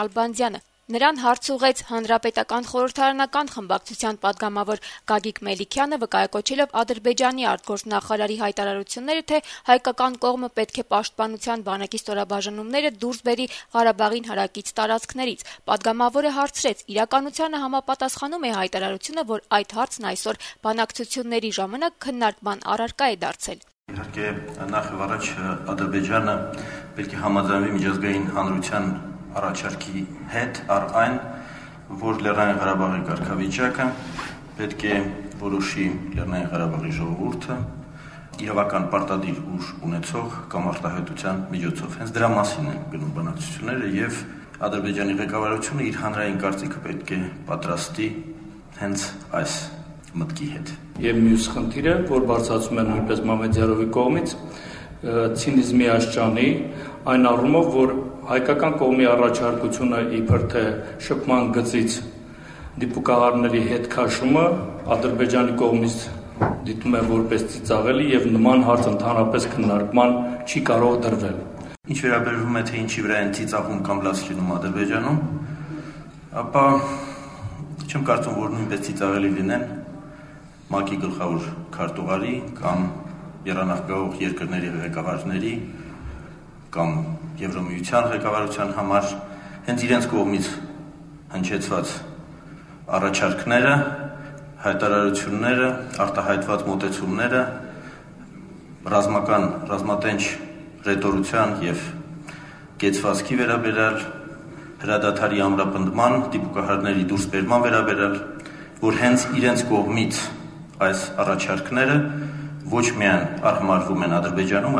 Նալբանդյանին հարց ուղղեց Հանրապետական խորհրդարանական խմբակցության պատգամավոր Գագիկ Մելիքյանը: Նա, վկայակոչելով Ադրբեջանի արտգործնախարար Էլմար Մամեդյարովի հայտարարությունը, թե հայկական կողմը պետք է Պաշտպանության բանակի ստորաբաժանումները դուրս բերի Ղարաբաղին հարակից տարածքներից, հարցրեց, թե իրականությանը համապատասխանո՞ւմ է այն հայտարարությունը, որ այդ հարցն այսօր ղարաբաղյան հակամարտության կարգավորման բանակցությունների ժամանակ քննարկման առարկա է դարձել: «Նախ եւ առաջ Ադրբեջանը պետք է համաձայնվի միջազգային հանրության առաջարկի հետ առ այն, որ Լեռնային Ղարաբաղի կարգավիճակը պետք է որոշի Լեռնային Ղարաբաղի ժողովուրդը իրավական պարտադիր ուժ ունեցող կամարտահայտության միջոցով: Հենց դրա մասին են գնում բանակցությունները, եւ Ադրբեջանի ղեկավարությունը իր հանրային կարծիքը պետք է պատրաստի հենց այս մտքի հետ», - պատասխանեց Նալբանդյանը: Մելիքյանը հարց ուղղեց նաեւ Մամեդյարովի արտահայտած այն մտքի վերաբերյալ, թե Ադրբեջանը «ծիծաղելի» է համարում շփման գծից դիպուկահարներին հետ քաշելու հայկական կողմի առաջարկությունը, եւ որ նման հարց ընդհանրապես քննարկման չի կարող դրվել: «Ինչ վերաբերում է, թե ինչի վրա են ծիծաղում կամ լաց լինում Ադրբեջանում, ապա չեմ կարծում, որ նույնպես ծիծաղելի լինեն ՄԱԿ-ի գլխավոր քարտուղարի, եռանախագահող երկրների ղեկավարների կամ Եվրամիության ղեկավարության համար հենց իրենց կողմից հնչեցված առաջարկները, հայտարարությունները, արտահայտված մոտեցումներ ռազմատենչ հռետորության եւ կեցվածքի, հրադադարի ամրապնդման, դիպուկահարների դուրս բերման վերաբերյալ, որ հենց իրենց կողմից այս առաջարկները ոչ միայն արհամարհվում են Ադրբեջանում,